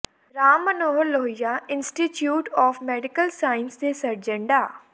Ram Manohar Lohia institute of medical sciences ਦੇ surgeon ਡਾ